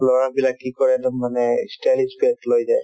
ল'ৰাবিলাক কি কৰে একদম মানে ই stylish bag লৈ যায়